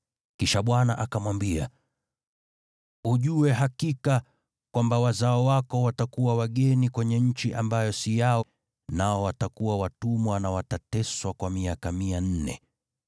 Kisha Bwana akamwambia, “Ujue hakika kwamba wazao wako watakuwa wageni kwenye nchi ambayo si yao, nao watafanywa watumwa na kuteswa kwa miaka mia nne.